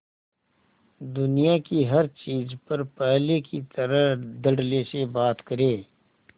दुनिया की हर चीज पर पहले की तरह धडल्ले से बात करे